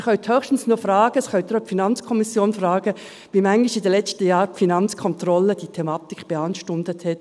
Sie können höchstens noch fragen – das können Sie auch in der FiKo fragen –, wie oft in den letzten Jahren die Finanzkontrolle diese Thematik beanstandet hat.